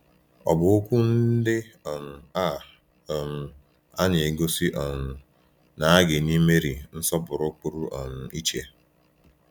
Ọ̀ bụ okwu ndị um a um a na-egosi um na a ga-enye Meri nsọpụrụ pụrụ um iche?